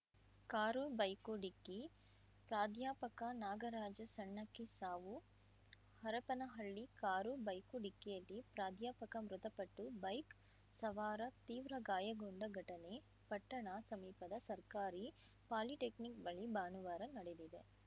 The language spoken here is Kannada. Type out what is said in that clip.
ಕಾರು ಬೈಕು ಡಿಕ್ಕಿ ಪ್ರಾಧ್ಯಾಪಕ ನಾಗರಾಜ ಸಣ್ಣಕ್ಕಿ ಸಾವು ಹರಪನಹಳ್ಳಿ ಕಾರು ಬೈಕು ಡಿಕ್ಕಿಯಲ್ಲಿ ಪ್ರಾಧ್ಯಾಪಕ ಮೃತಪಟ್ಟು ಬೈಕ್‌ ಸವಾರ ತೀವ್ರ ಗಾಯಗೊಂಡ ಘಟನೆ ಪಟ್ಟಣ ಸಮೀಪದ ಸರ್ಕಾರಿ ಪಾಲಿಟೆಕ್ನಿಕ್‌ ಬಳಿ ಭಾನುವಾರ ನಡೆದಿದೆ